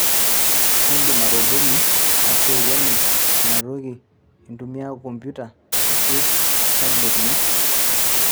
indim atobolo ashu aikeno inaa toki intumia kompiuta ashu tableti ino